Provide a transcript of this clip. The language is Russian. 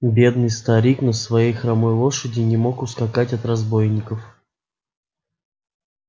бедный старик на своей хромой лошади не мог ускакать от разбойников